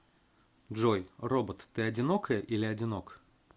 джой робот ты одинокая или одинок